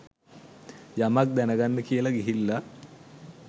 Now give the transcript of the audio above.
යමක් දැනගන්න කියලා ගිහිල්ල.